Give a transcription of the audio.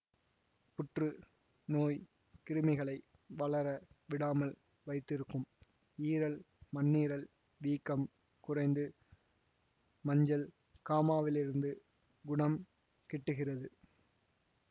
புற்று நோய் கிருமிகளை வளர விடாமல் வைத்திருக்கும் ஈரல் மண்ணீரல் வீக்கம் குறைந்து மஞ்சள் காமாவிலிருந்து குணம் கிட்டுகிறது